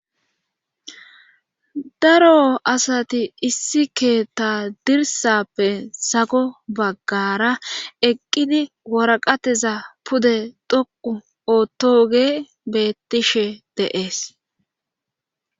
daro asati issi keetta dirsappe sago baggara eqqidi waraqateza pude dhoqu ootoge beettishe de'es